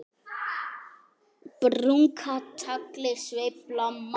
Brúnka tagli sveifla má.